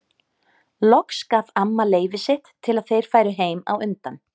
Loks gaf amma leyfi sitt til að þeir færu heim á undan.